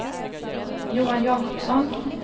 Johan Jacobsson